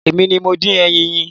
Èmi ni mo dín ẹyin yín.